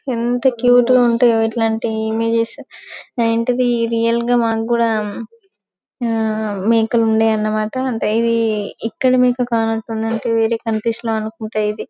ఎంత క్యూట్ గా ఉంటాయో ఇలాంటి ఇమేజెస్ ఇలాంటిది రియల్ గా మనకు కూడా ఆ మేకలు ఉన్నాయన్న మాట ఇది ఇక్కడ మేక కానట్టుంది వేరే కంట్రీస్ లో అనుకుంటా ఇది.